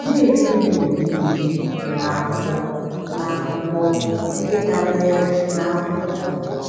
Na-eri nri mgbe niile n’akwụkwọ na akwụkwọ ndị dabeere n’akwụkwọ.